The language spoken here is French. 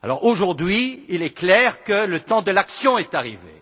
Aujourd'hui, il est clair que le temps de l'action est arrivé.